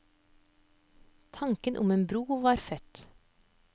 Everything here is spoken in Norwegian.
Tanken om en bro var født.